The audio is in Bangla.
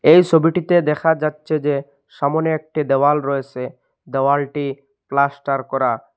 এই ছবিটিতে দেখা যাচ্ছে যে সামোনে একটি দেওয়াল রয়েসে দেওয়ালটি প্লাস্টার করা।